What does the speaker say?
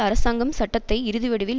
அரசாங்கம் சட்டத்தை இறுதிவடிவில்